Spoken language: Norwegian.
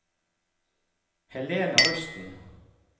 Helena Rusten